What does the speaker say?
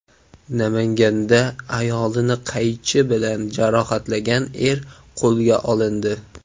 Namanganda ayolini qaychi bilan jarohatlagan er qo‘lga olindi.